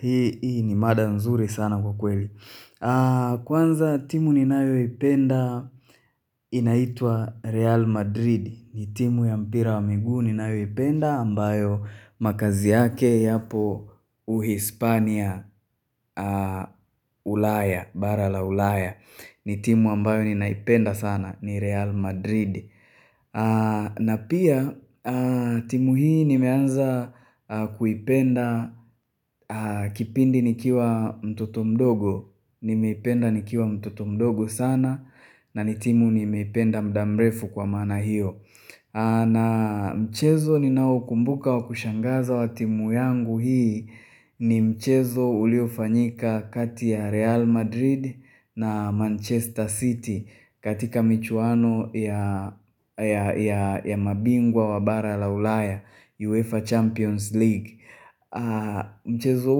Hii ni mada nzuri sana kwa kweli. Kwanza timu ninayoipenda inaitwa Real Madrid. Ni timu ya mpira wa miguu ninayoipenda ambayo makazi yake yapo uhispania ulaya, bara la ulaya. Ni timu ambayo ninaipenda sana ni Real Madrid. Na pia timu hii nimeanza kuipenda kipindi nikiwa mtoto mdogo Nimeipenda nikiwa mtoto mdogo sana na ni timu nimeipenda muda mrefu kwa maana hiyo. Na mchezo ninaokumbuka wa kushangaza wa timu yangu hii ni mchezo uliofanyika kati ya Real Madrid na Manchester City katika michuano ya ya mabingwa wa bara la ulaya UEFA Champions League.Mchezo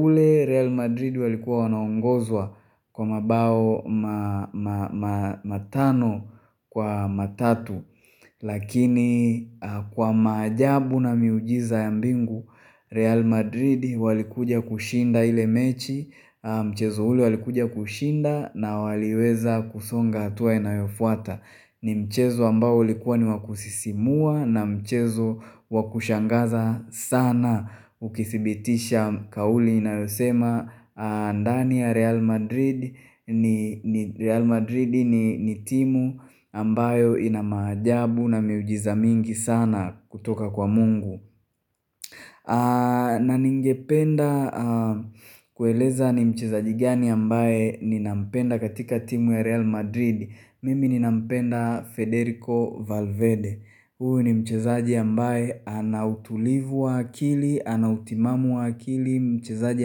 ule Real Madrid walikuwa wanaongozwa kwa mabao matano kwa matatu Lakini kwa maajabu na miujiza ya mbingu Real Madrid walikuja kushinda ile mechi Mchezo ule walikuja kushinda na waliweza kusonga hatua inayofuata ni mchezo ambao ulikuwa ni wa kusisimua na mchezo wa kushangaza sana Ukidhibitisha kauli inayosema ndani ya Real Madrid Real Madrid ni timu ambayo ina maajabu na miujiza mingi sana kutoka kwa mungu na ningependa kueleza ni mchezaji gani ambaye ninampenda katika timu ya Real Madrid. Mimi ni nampenda Federico Valvede huyo ni mchezaji ambaye ana utulivu wa akili, ana utimamu wa akili, mchezaji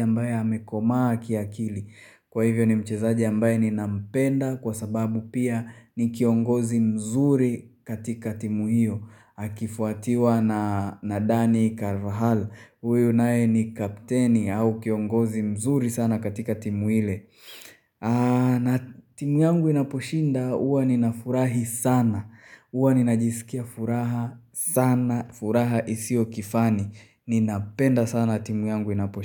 ambaye amekomaa kiaakili Kwa hivyo ni mchezaji ambaye ninampenda kwa sababu pia ni kiongozi mzuri katika timu hiyo. Akifuatiwa na Danny Carvahal huyu naye ni kapteni au kiongozi mzuri sana katika timu ile na timu yangu inaposhinda huwa ninafurahi sana huwa ninajisikia furaha sana. Furaha hisio kifani. Ninapenda sana timu yangu inaposhinda.